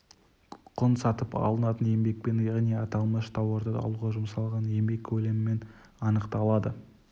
құн сатып алынатын еңбекпен яғни аталмыш тауарды алуға жұмсалған еңбек көлемімен анықталады